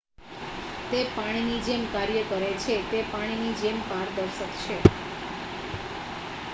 """તે પાણીની જેમ કાર્ય કરે છે. તે પાણીની જેમ જ પારદર્શક છે.